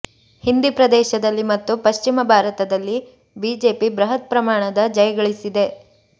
ಹಿಂದಿ ಪ್ರದೇಶದಲ್ಲಿ ಮತ್ತು ಪಶ್ಚಿಮ ಭಾರತದಲ್ಲಿ ಬಿಜೆಪಿ ಬೃಹತ್ ಪ್ರಮಾಣದ ಜಯಗಳಿಸಿದೆ